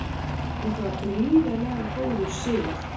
Þetta var gríðarlega góður sigur